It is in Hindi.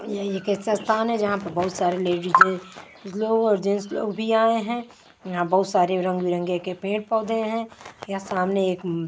यह एक ऐसा स्थान है जहाँ पर बहुत सारे लेडिज लोग लोग और जेंट्स लोग भी आए हैं यहाँ बहुत सारे रंग-बिरंगे के पेड़-पौधे हैं यहाँ सामने एक--